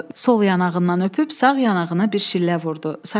Sol yanağından öpüb sağ yanağına bir şillə vurdu.